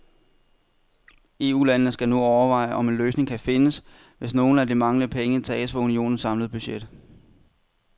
EUlandene skal nu overveje, om en løsning kan findes, hvis nogle af de manglende penge tages fra unionens samlede budget.